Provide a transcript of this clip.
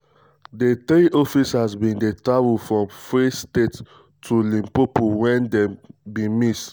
di three officers bin dey travel from free state to um limpopo wen um dem bin miss.